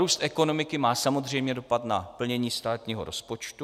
Růst ekonomiky má samozřejmě dopad na plnění státního rozpočtu.